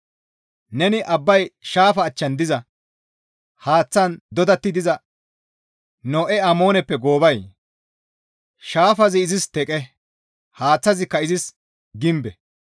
Neni Abbaye shaafa achchan diza, haaththan doodetta diza No7e Amooneppe goobay? Shaafazi izis teqe haaththazikka izis gimbe.